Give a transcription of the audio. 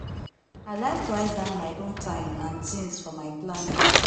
i like write down my own time and tings for my planner.